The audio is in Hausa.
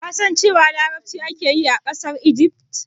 Ka san cewa larabci ake yi a ƙasar Igif?